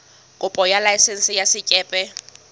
kopo ya laesense ya sekepe